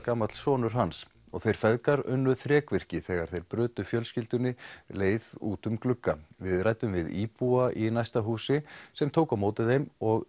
sonur hans þeir feðgar unnu þrekvirki þegar þeir brutu fjölskyldunni leið út um glugga við ræddum við íbúa í næsta húsi sem tók á móti þeim og